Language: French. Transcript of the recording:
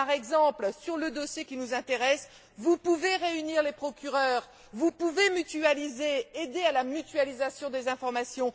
Par exemple, sur le dossier qui nous intéresse, vous pouvez réunir les procureurs, vous pouvez mutualiser, aider à la mutualisation des informations.